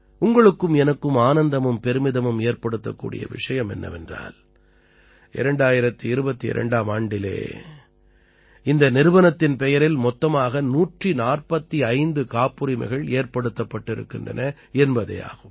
உங்களுக்கும் எனக்கும் ஆனந்தமும் பெருமிதமும் ஏற்படுத்தக்கூடிய விஷயம் என்னவென்றால் 2022ஆம் ஆண்டிலே இந்த நிறுவனத்தின் பெயரில் மொத்தமாக 145 காப்புரிமைகள் ஏற்படுத்தப்பட்டிருக்கின்றன என்பதே ஆகும்